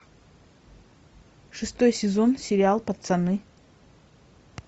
шестой сезон сериал пацаны